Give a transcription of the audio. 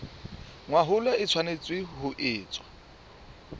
mahola e tshwanetse ho etswa